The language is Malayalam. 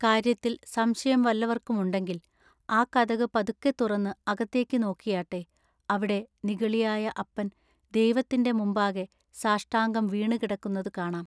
കാര്യത്തിൽ സംശയം വല്ലവർക്കും ഉണ്ടെങ്കിൽ ആ കതകു പതുക്കെ തുറന്നു അകത്തേക്കു നോക്കിയാട്ടെ, അവിടെ നിഗളിയായ അപ്പൻ ദൈവത്തിന്റെ മുമ്പാകെ സാഷ്ടാംഗം വീണു കിടക്കുന്നതു കാണാം.